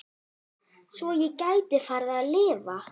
Svo ég gæti farið að lifa.